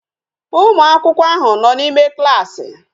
Ụmụakwụkwọ ahụ nọ n'ime klaasị